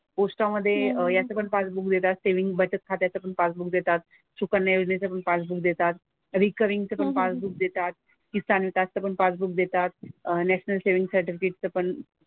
पोस्टामधे याचं पण पासबुक मिळतात सेव्हिन्ग बचत खात्याचं पण पासबुक देतात. सुकन्या योजनेचं पण पासबुक देतात. रिकरिंगचं पण पासबुक देतात. किसान त्याचं पण पासबुक देतात. अह नॅशनल सेव्हिन्ग सर्टिफिकेटचं पण,